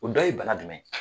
O dɔ ye bana jumɛn ye